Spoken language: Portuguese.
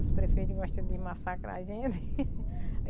os prefeitos gosta de massacrar a gente.